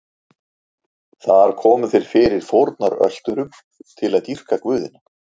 Þar komu þeir fyrir fórnarölturum til að dýrka guðina.